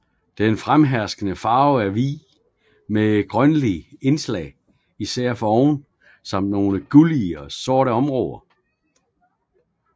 Den fremherskende farve er hvid med grønlige indslag især foroven samt nogle gullige og sorte områder